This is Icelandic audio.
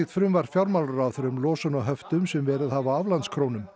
frumvarp fjármálaráðherra um losun á höftum sem verið hafa á aflandskrónum